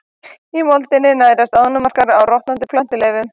Í moldinni nærast ánamaðkar á rotnandi plöntuleifum.